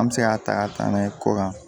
An bɛ se ka ta ka taa n'a ye kɔkan